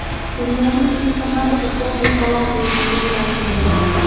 Dunyoning eng qimmat futbol ligalari reytingi e’lon qilindi.